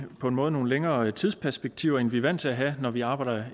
på en måde nogle længere tidsperspektiver end vi er vant til at have når vi arbejder